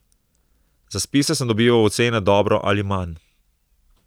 Za spise sem dobival ocene dobro ali manj.